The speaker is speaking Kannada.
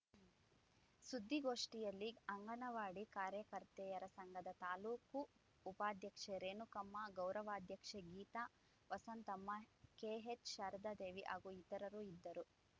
ಸುದ್ದಿಗೋಷ್ಠಿಯಲ್ಲಿ ಅಂಗನವಾಡಿ ಕಾರ್ಯಕರ್ತೆಯರ ಸಂಘದ ತಾಲೂಕು ಉಪಾದ್ಯಕ್ಷೆ ರೇಣುಕಮ್ಮ ಗೌರವಾದ್ಯಕ್ಷೆ ಗೀತಾ ವಸಂತಮ್ಮ ಕೆಎಚ್‌ ಶಾರದಾದೇವಿ ಹಾಗೂ ಇತರರು ಇದ್ದರು